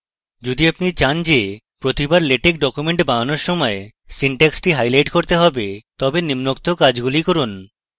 যদি apply চান যে প্রত্যেকবার apply লেটেক document তৈরি করার সময় syntax হাইলাইট হবে তবে নিমোক্ত কাজগুলি করুন